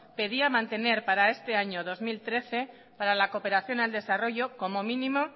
pedía mantener para este año dos mil trece para la cooperación al desarrollo como mínimo